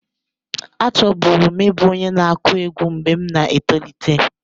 Achọburu m ịbụ onye na-akụ egwú mgbe m na-etolite.